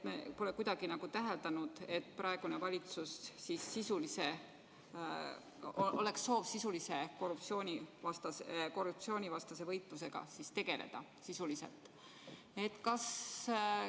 Me pole kuidagi täheldanud, et praegusel valitsusel oleks soov korruptsioonivastase võitlusega sisuliselt tegeleda.